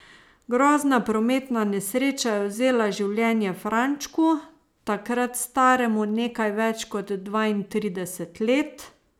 Grozna prometna nesreča je vzela življenje Frančku, takrat staremu nekaj več kot dvaintrideset let.